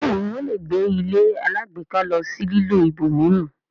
bẹẹni wón lẹ gbé ilé alágbèéká ló sì lilọ ibòmíràn.